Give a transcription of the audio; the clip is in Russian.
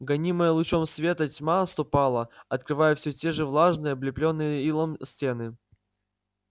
гонимая лучом света тьма отступала открывая всё те же влажные облеплённые илом стены